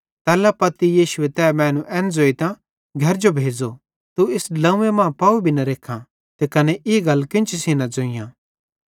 तैल्ला पत्ती यीशुए तै मैनू एन ज़ोइतां घरे जो भेज़ो तू इस ड्लोंव्वे मां पाव भी न रेखां ते कने ई गल केन्ची सेइं न ज़ोइयां